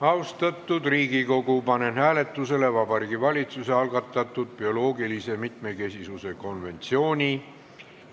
Austatud Riigikogu, panen hääletusele Vabariigi Valitsuse algatatud bioloogilise mitmekesisuse konventsiooni